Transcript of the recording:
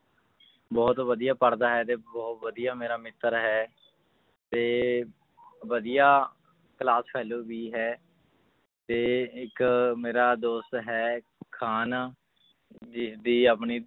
ਬਹੁਤ ਵਧੀਆ ਪੜ੍ਹਦਾ ਹੈ ਤੇ ਬਹੁਤ ਵਧੀਆ ਮੇਰਾ ਮਿੱਤਰ ਹੈ ਤੇ ਵਧੀਆ class fellow ਵੀ ਹੈ ਤੇ ਇੱਕ ਮੇਰਾ ਦੋਸਤ ਹੈ ਖਾਨ ਜਿਸਦੀ ਆਪਣੀ